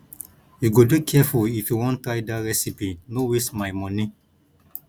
you go dey careful if you wan try dat recipe no waste my moni